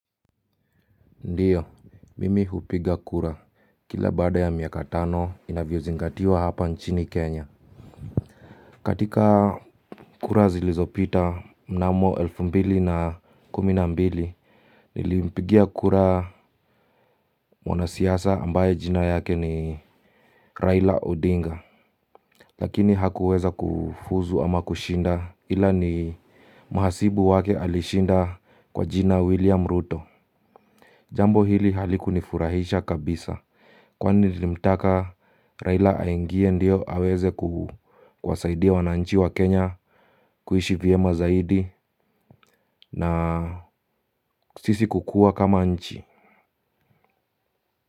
Ndiyo, mimi hupiga kura, kila baada ya miaka tano inavyozingatiwa hapa nchini Kenya. Katika kura zilizopita mnamo elfu mbili na kumi na mbili, nilimpigia kura mwanasiasa ambaye jina yake ni Raila Odinga. Lakini hakuweza kufuzu ama kushinda ila ni mhasibu wake alishinda kwa jina William Ruto. Jambo hili halikunifurahisha kabisa kwani nilimtaka Raila aingie ndio aweze kuwasaidia wananchi wa Kenya kuishi vyema zaidi na sisi kukua kama nchi.